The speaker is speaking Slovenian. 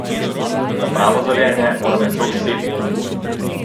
Za pravo zorenje mora meso viseti!